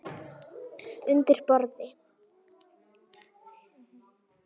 Undir borð.